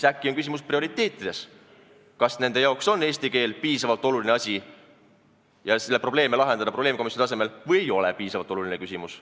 Äkki on küsimus prioriteetides, kas nende jaoks on eesti keel piisavalt oluline asi, et seda probleemi lahendada probleemkomisjoni tasemel, või ei ole see piisavalt oluline küsimus.